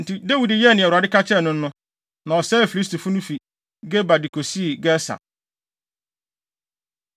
Enti Dawid yɛɛ nea Awurade ka kyerɛɛ no no, na ɔsɛee Filistifo no fi Geba de kosii Geser.